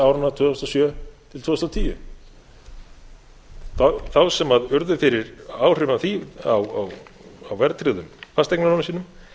þúsund og sjö til tvö þúsund og tíu þá sem urðu fyrir áhrifum af því á verðtryggðum fasteignalánum sínum